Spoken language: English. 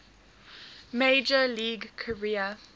major league career